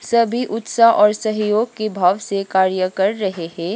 सभी उत्सव और सहयोग की भाव से कार्य कर रहे हैं।